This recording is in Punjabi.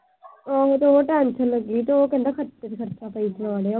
ਟੈਸ਼ਨ ਲੱਗੀ ਤੇ ਉਹ ਕਹਿੰਦਾ ਖਰਚੇ ਤੇ ਖਰਚਾ ਪਈ ਜਾ ਰਿਹਾ।